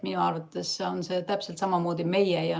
Minu arvates on see täpselt samamoodi meie.